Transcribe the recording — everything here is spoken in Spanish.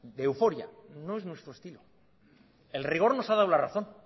de euforia no es nuestro estilo el rigor nos ha dado la razón